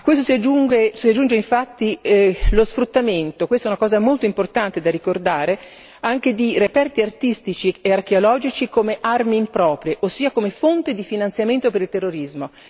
A questo si aggiunge infatti lo sfruttamento questa è una cosa molto importante da ricordare di reperti artistici e archeologici come armi improprie ossia come fonte di finanziamento per il terrorismo.